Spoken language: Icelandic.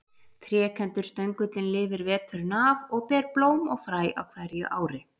Trékenndur stöngullinn lifir veturinn af og ber blóm og fræ á hverju ári.